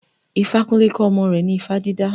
Ifakunle kọ́ ọmọ rẹ̀ ní ifá dídá.